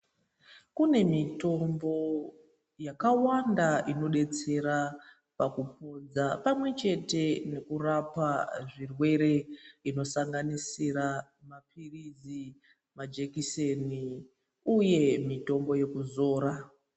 Kune mitombo yakawanda inodetsera pakupodza pamwechete nekurapa zvirwere inosanganisira mapiritsi, majekiseni uye mitombo yekuzora.